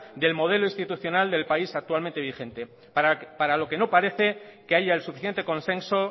del modelo institucional del país actualmente vigente para lo que no parece que haya el suficiente consenso